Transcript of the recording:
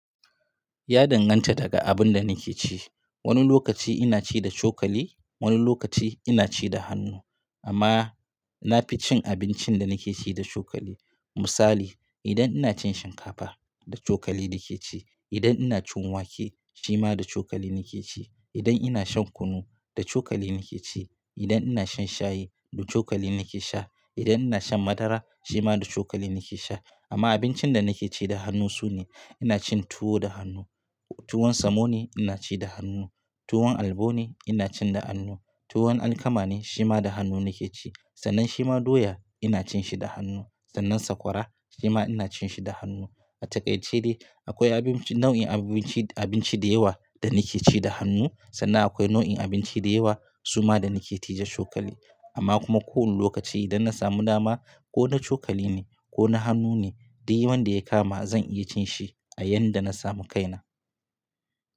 Ya danganta daga abin da nake ci. Wani lokaci ina ci da cokali, wani lokaci ina ci da hannu. Amma na fi cin abincin da nake ci da cokali. Misali, idan ina cin shinkafa, da cokali nake ci. Idan ina cin wake, shi ma da cokali nake ci. Idan ina shan kunu, da cokali nake ci. Idan ina shan shayi, da cokali nake sha. Idan ina shan madara, shi ma da cokali nake sha. Amma abincin da nake ci da hannu su ne, ina cin tuwo da hannu. Tuwon samo ne, ina ci da hannu. Tuwon alabo ne, ina ci da hannu. Tuwon alkama ne, shi ma da hannu nake ci. Sannan shi ma doya, ina cin shi da hannu. Sannan sakwara, shi ma ina cin shi da hannu. A takaice dai akwai abin ci, nau'in abin ci, abinci da yawa da nake ci da hannu sannan akwai nau'in abinci da yawa su ma da nake ci da cokali. Amma kuma ko wani lokaci idan na samu dama ko na cokali ne ko na hannu ne, dik wanda ya kama zan iya cin shi a yanda na samu kaina.